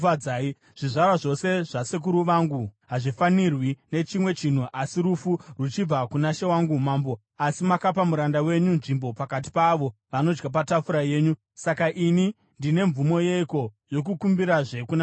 Zvizvarwa zvose zvasekuru vangu hazvifanirwi nechimwe chinhu asi rufu ruchibva kuna she wangu mambo, asi makapa muranda wenyu nzvimbo pakati paavo vanodya patafura yenyu. Saka ini ndine mvumo yeiko yokukumbirazve kuna mambo?”